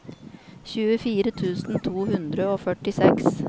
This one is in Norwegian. tjuefire tusen to hundre og førtiseks